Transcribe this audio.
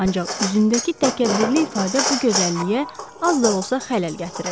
Ancaq üzündəki təkəbbürlü ifadə bu gözəlliyə az da olsa xələl gətirirdi.